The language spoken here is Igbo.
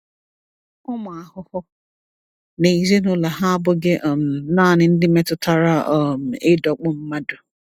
Ụmụ ahụhụ na ezinụlọ ha abụghị um naanị ndị metụtara um ịdọkpụ mmadụ.